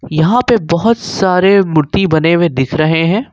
यहां पे बहोत सारे मूर्ति बने हुए दिख रहे हैं।